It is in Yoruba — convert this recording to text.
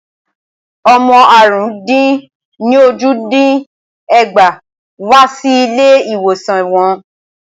Ọmọ àrún-dín-ní-ójì dín ẹgbàá wá sí ilé ìwòsan wọn.